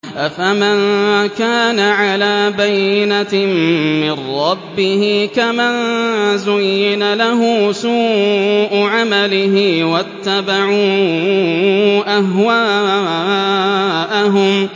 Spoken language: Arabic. أَفَمَن كَانَ عَلَىٰ بَيِّنَةٍ مِّن رَّبِّهِ كَمَن زُيِّنَ لَهُ سُوءُ عَمَلِهِ وَاتَّبَعُوا أَهْوَاءَهُم